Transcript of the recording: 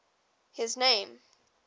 his name